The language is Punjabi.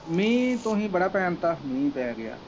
ਮੀਂਹ ਤੁਸੀਂ ਬੜਾ ਪੈਣ ਦਿੱਤਾ ਮੀਂਹ ਪੈ ਗਿਆ।